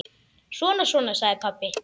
Svona, svona, sagði pabbi.